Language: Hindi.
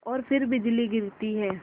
और फिर बिजली गिरती है